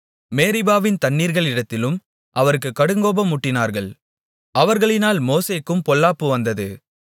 மேரிபாவின் தண்ணீர்களிடத்திலும் அவருக்குக் கடுங்கோபம் மூட்டினார்கள் அவர்களினால் மோசேக்கும் பொல்லாப்பு வந்தது